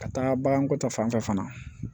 Ka taa baganko ta fanfɛ fana